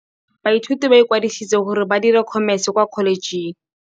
Baithuti ba ikwadisitse gore ba dire Khomese kwa Kholetšheng.